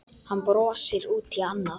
Hann brosti út í annað.